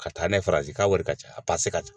Ka taa n'a ye Faransi k'a wari ka ca a pase ka ca